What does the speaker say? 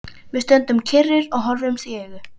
Við stöndum kyrrir og horfumst í augu.